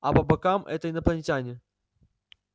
а по бокам это инопланетяне